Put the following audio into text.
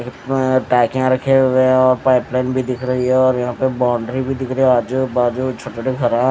रखे हुए है पाइप लाइन भी दिख रही है और यहां पे बाउंड्री भी दिख रही है आजू बाजू छोटे-छोटे घरा --